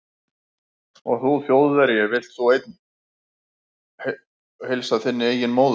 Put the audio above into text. Og þú Þjóðverji, vilt þú einn heilsa þinni eigin móður